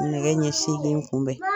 Nɛgɛ ɲɛ sigin kunbɛn